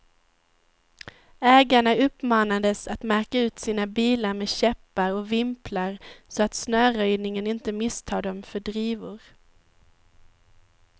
Ägarna uppmanades att märka ut sina bilar med käppar och vimplar, så att snöröjningen inte misstar dem för drivor.